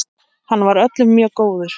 Hann var öllum mjög góður.